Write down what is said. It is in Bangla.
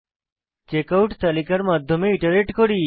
চেকআউট তালিকার মাধ্যমে ইটারেট করি